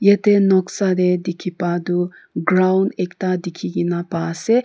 yathe noksa dae dekepa tuh ground ekta dekhekena pa ase.